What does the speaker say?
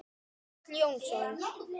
Páll Jónsson